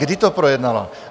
Kdy to projednala?